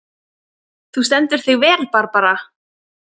Þú stendur þig vel, Barbara!